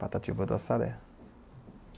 Patativa do Açaré.